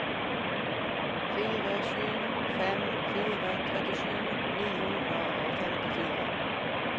fire sju fem fire trettisju ni hundre og femtifire